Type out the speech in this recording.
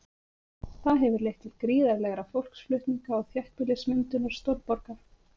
Það hefur leitt til gríðarlegra fólksflutninga og þéttbýlismyndunar stórborga.